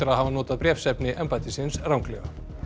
hafa notað bréfsefni embættisins ranglega